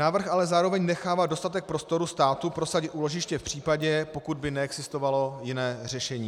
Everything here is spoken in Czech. Návrh ale zároveň nechává dostatek prostoru státu prosadit úložiště v případě, pokud by neexistovalo jiné řešení.